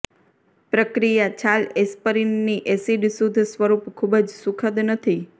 પ્રક્રિયા છાલ એસ્પરીનની એસિડ શુદ્ધ સ્વરૂપ ખૂબ જ સુખદ નથી